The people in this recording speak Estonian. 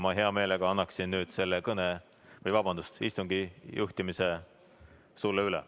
Ma hea meelega annan nüüd selle istungi juhtimise sulle üle.